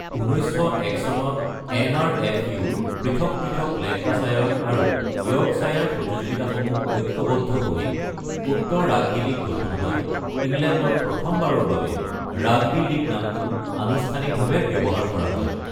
১৯০১ চনত এন.আৰ.এফ. ইউ.-ৰ পৃথক পৃথক লেংকাশ্বায়াৰ আৰু য়ৰ্কশ্বায়াৰ প্ৰতিযোগিতাসমূহ ঐকবদ্ধ হৈ উত্তৰ ৰাগবী লীগ গঠন হয়, ইংলেণ্ডত প্ৰথমবাৰৰ বাবে ৰাগবী লীগ নামটো আনুষ্ঠানিকভাৱে ব্যৱহাৰ কৰা হয়।